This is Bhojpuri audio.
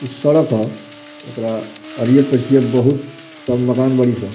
इ सड़क ह एकरा आर ये पछिया बहुत सब मकान बड़ी स।